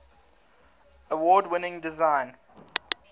award winning design